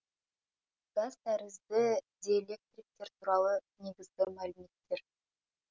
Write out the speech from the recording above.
газ тәрізді диэлектриктер туралы негізгі мәліметтер